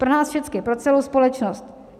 Pro nás všechny, pro celou společnost?